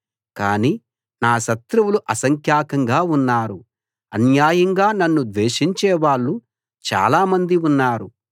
కానీ నా శత్రువులు అసంఖ్యాకంగా ఉన్నారు అన్యాయంగా నన్ను ద్వేషించేవాళ్ళు చాలామంది ఉన్నారు